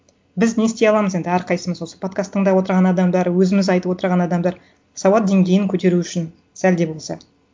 біз не істей аламыз енді әрқайсымыз осы подкаст тыңдап отырған адамдар өзіміз айтып отырған адамдар сауат деңгейін көтеру үшін сәл де болса